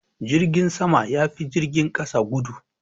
Jirgin sama ya fi jirgin kasa gudu.